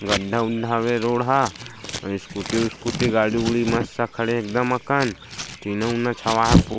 गढ्ढा उढ्ढा हवे रोड ह अउ स्कूटी स्कूटी गाड़ी उड़ि मस्त खड़े हे एकदम अकन टीना उना छवा हे।